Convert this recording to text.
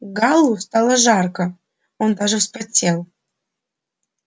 гаалу стало жарко он даже вспотел